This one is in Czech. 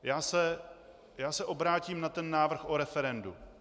Já se obrátím na ten návrh o referendu.